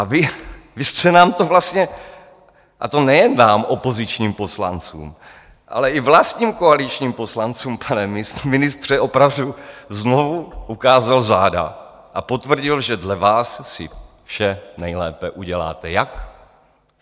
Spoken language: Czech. A vy jste nám to vlastně, a to nejen nám, opozičním poslancům, ale i vlastním koaličním poslancům, pane ministře, opravdu znovu ukázal záda a potvrdil, že dle vás si vše nejlépe uděláte jak?